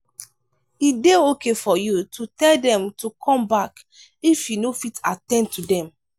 e dey okay for you to tell them to come back if you no fit at ten d to them